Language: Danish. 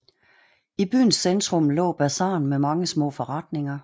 I byens centrum lå bazaren med mange små forretninger